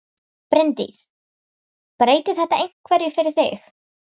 Bryndís: Breytir þetta einhverju fyrir þig?